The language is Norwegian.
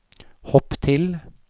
hopp til